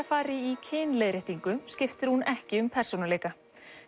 fari í kynleiðréttingu skiptir hún ekki um persónuleika